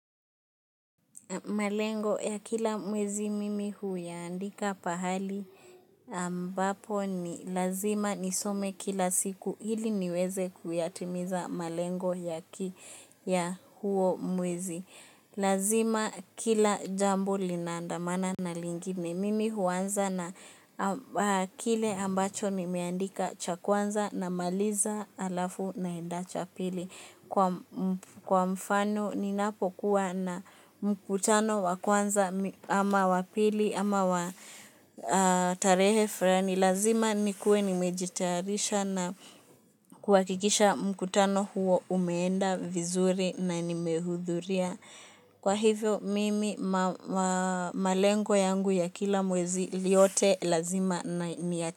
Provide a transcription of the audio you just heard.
Malengo ya kila mwezi mimi huiandika pahali ambapo ni lazima nisome kila siku ili niweze kuyatimiza malengo ya huo mwezi. Lazima kila jambo linaandamana na lingine. Mimi huanza na kile ambacho nimeandika cha kwanza namaliza halafu naenda cha pili. Kwa mfano ninapokuwa na mkutano wa kwanza ama wa pili ama wa tarehe fulani. Lazima nikuwe nimejitarisha na kuhakikisha mkutano huo umeenda vizuri na nimehudhuria. Kwa hivyo mimi malengo yangu ya kila mwezi yote lazima na niyati.